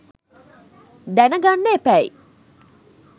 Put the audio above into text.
දැන ගන්න එපැයි.